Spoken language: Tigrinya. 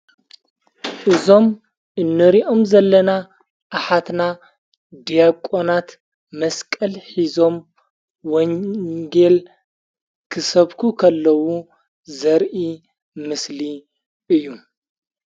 እዞም እኔሪኦም ዘለና ኣኃትና ዲያቋናት መስቀል ኂዞም ወንጌል ክሰብኩ ኸለዉ ዘርኢ ምስሊ እዩ፡፡